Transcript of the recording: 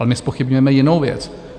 Ale my zpochybňujeme jinou věc.